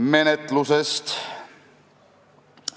Menetlusest.